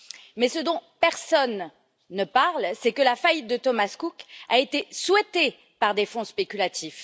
Mais ce dont personne ne parle, c'est que la faillite de Thomas Cook a été souhaitée par des fonds spéculatifs.